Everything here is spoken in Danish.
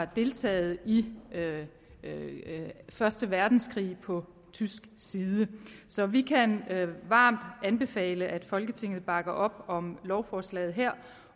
deltagere i første verdenskrig på tysk side så vi kan varmt anbefale at folketinget bakker op om lovforslaget her